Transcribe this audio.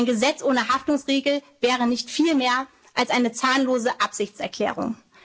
einhalten. Ein Gesetz ohne Haftungsregel wäre nicht viel mehr als eine zahnlose Absichtserklärung.